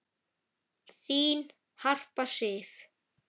Þín Harpa Sif.